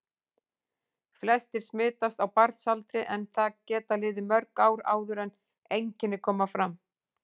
Flestir smitast á barnsaldri en það geta liðið mörg ár áður en einkenni koma fram.